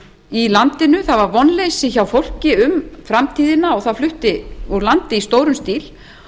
í landinu það var vonleysi hjá fólki um framtíðina og það flutti úr landi í stórum stíl